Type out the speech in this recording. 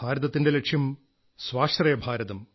ഭാരതത്തിന്റെ ലക്ഷ്യം സ്വാശ്രയഭാരതം